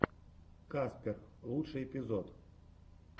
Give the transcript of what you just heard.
каспер лучший эпизод